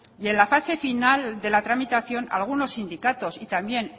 y en la fase final de la tramitación algunos sindicatos y también